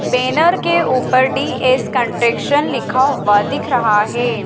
Banner के ऊपर D S contraction लिखा हुआ दिख रहा है।